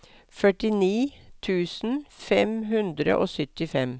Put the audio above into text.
førtini tusen fem hundre og syttifem